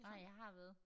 Nej jeg har været